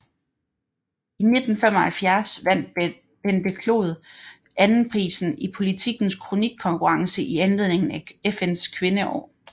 I 1975 vandt Bente Clod anden prisen i Politikens kronikkonkurrence i anledning af FNs Kvindeår